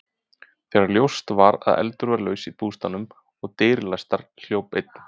Þegar ljóst var að eldur var laus í bústaðnum og dyr læstar, hljóp einn